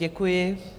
Děkuji.